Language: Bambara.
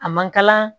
A mankala